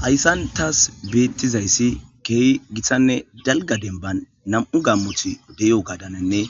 Hayssan thaas beeththizayssi keehi githanne dalgga denbban nam7u gammothi de7iyoogaadaninne